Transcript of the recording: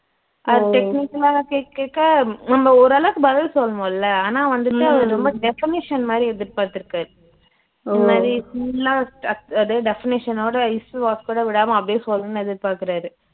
அவரு technical ஆ கேக்க கேக்க நம்ப ஓரளவுக்கு பதில் சொல்லுவோம்ல ஆனா வந்துட்டு அவரு ரொம்ப definition மாதிரி எதிர்பாத்துருக்காரு அது மாதிரி full ஆ அது definition ஓட is, was கூட விடாம அப்ப்டியே சொல்லனுன்னு எதிர்பாக்குறாரு